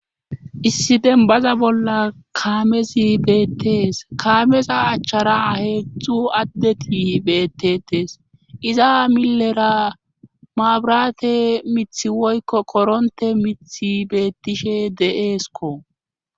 issidenbaza bolla kaamesi beettees kaameza achchara heedzdzu addeti beettetes iza millera maabrate mithi woykko koronte mithi beettishe deeesko